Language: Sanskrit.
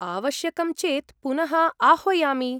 आवश्यकं चेत् पुनः आह्वयामि।